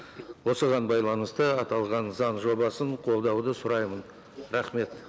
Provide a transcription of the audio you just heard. осыған байланысты аталған заң жобасын қолдауды сұраймын рахмет